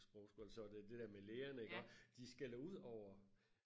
på sprogskole så er det det der med læger iggå de skælder ud over